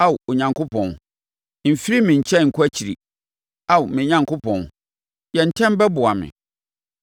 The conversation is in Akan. Ao Onyankopɔn, mfiri me nkyɛn nkɔ akyiri; Ao me Onyankopɔn, yɛ ntɛm bɛboa me.